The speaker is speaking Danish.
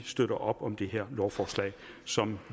støtter op om det her lovforslag som